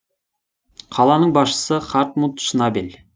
қаланың басшысы хартмут шнабель